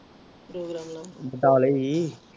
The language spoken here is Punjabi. ਪ੍ਰੋਗਰਾਮ ਲਾਉਣ ਬਟਾਲੇ ਹੀ